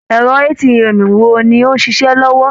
Ẹ̀rọ ATM wo ni ó ń ṣiṣẹ́ lọ́wọ́?